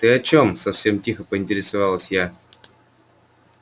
ты о чём совсем тихо поинтересовалась я